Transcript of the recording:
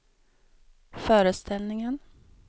föreställningen